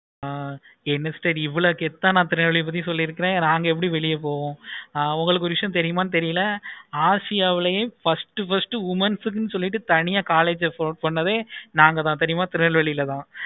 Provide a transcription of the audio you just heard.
ஆஹ் ஏன் sister இவளோ கெத்தா ஆஹ் திருநெல்வேலி பத்தி சொல்லி இருக்கேன் நாங்க எப்படி வெளிய போவோம். ஆஹ் உங்களுக்கு ஒரு விஷயம் தெரியுமா தெரியல. ஆசியாவிலையே first first womens க்கு சொல்லிட்டு college தனியா college open நாங்க தான் தெரியுமா